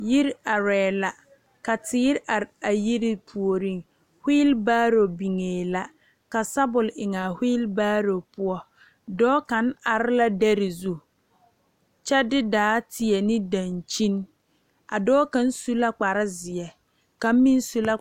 Yiri arɛɛ la ka teere are a yiri puoriŋ wheel baaro biŋee la ka sabul eŋaa wheel baaro poɔ dɔɔ kaŋ are la dɛre zu kyɛ de daa teɛ ne dankyini a dɔɔ kaŋ su la kparezeɛ ka meŋ su la.